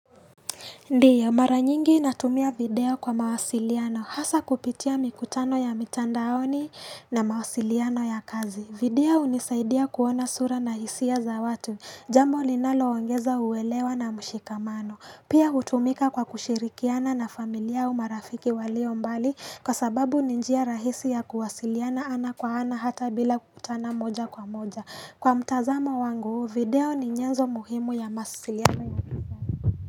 Ndio, maranyingi natumia video kwa mawasiliano. Hasa kupitia mikutano ya mitandaoni na mawasiliano ya kazi. Video unisaidia kuona sura na hisia za watu. Jambo ninalo ongeza uwelewa na mshikamano. Pia utumika kwa kushirikiana na familia umarafiki walio mbali kwa sababu ni njia rahisi ya kuwasiliana ana kwa ana hata bila kutana moja kwa moja. Kwa mtazamo wangu, video ni nyenzo muhimu ya mawasiliano.